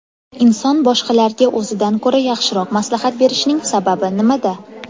Inson boshqalarga o‘zidan ko‘ra yaxshiroq maslahat berishining sababi nimada?.